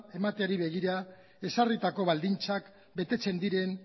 emateari begira ezarritako baldintzak betetzen diren